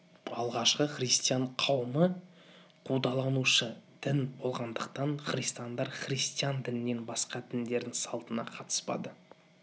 алғашқы христиан қауымы қудаланушы дін болғандықтан христиандар христиан дінінен басқа діндердің салтына қатыспады